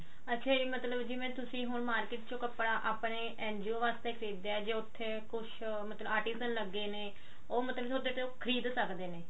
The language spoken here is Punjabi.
ਅੱਛਾ ਜੀ ਮਤਲਬ ਤੁਸੀਂ ਹੁਣ market ਚੋਂ ਕੱਪੜਾ ਆਪਣੇ NGO ਵਾਸਤੇ ਖਰੀਦਿਆ ਜੇ ਮਤਲਬ ਕੁਛ article ਲੱਗੇ ਨੇ ਤਾਂ ਮਤਲਬ ਉਹਦੇ ਤੇ ਉਹ ਖਰੀਦ ਸਕਦੇ ਨੇ